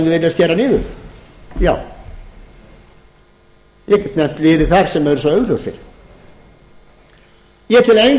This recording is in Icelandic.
já ég get nefnt liði þar sem eru svo augljósir ég tel enga